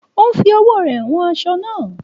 Ó ń fi ọwọ́ rẹ wan aṣọ naa